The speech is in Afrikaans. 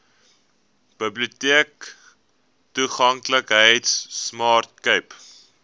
biblioteektoeganklikheidsprojek smart cape